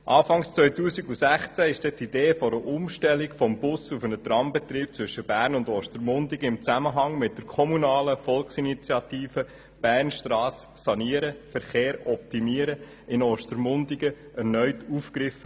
Anfang 2016 wurde die Idee einer Umstellung vom Bus- auf einen Trambetrieb zwischen Bern und Ostermundigen im Zusammenhang mit der kommunalen Volksinitiative «Bernstrasse sanieren – Verkehr optimieren» in Ostermundigen erneut aufgegriffen.